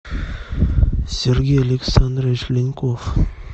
сергей александрович ленков